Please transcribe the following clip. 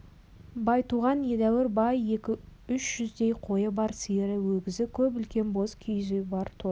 байтуған едәуір бай екі-үш жүздей қойы бар сиыры өгізі көп үлкен боз киіз үйі бар торы